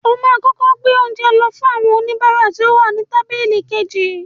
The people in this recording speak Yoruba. O máa kọ́kọ́ gbé oúnjẹ lọ fún àwọn oníbàárà tí ó wà ní tábílì kejì.